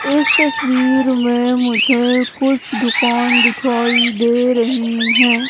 इस तस्वीर में मुझे कुछ दुकान दिखाई दे रही है।